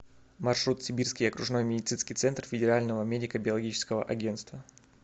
маршрут сибирский окружной медицинский центр федерального медико биологического агентства